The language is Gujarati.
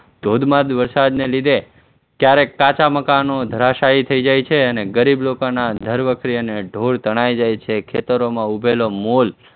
ધોધમાર વરસાદને લીધે ક્યારેક કાચા મકાનો ધરાશાહી થઇ જાય છે અને ગરીબ લોકોના ઘરવખરી અને ઢોર તણાઈ જાય છે, ખેતરોમાં ઉગેલો મોલ